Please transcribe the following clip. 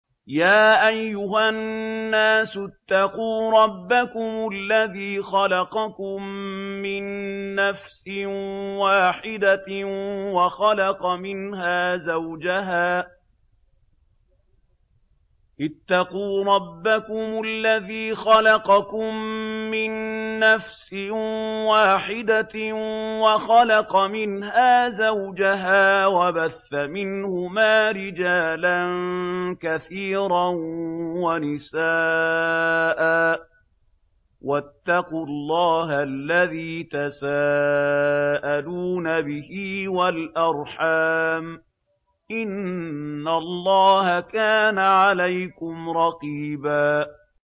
يَا أَيُّهَا النَّاسُ اتَّقُوا رَبَّكُمُ الَّذِي خَلَقَكُم مِّن نَّفْسٍ وَاحِدَةٍ وَخَلَقَ مِنْهَا زَوْجَهَا وَبَثَّ مِنْهُمَا رِجَالًا كَثِيرًا وَنِسَاءً ۚ وَاتَّقُوا اللَّهَ الَّذِي تَسَاءَلُونَ بِهِ وَالْأَرْحَامَ ۚ إِنَّ اللَّهَ كَانَ عَلَيْكُمْ رَقِيبًا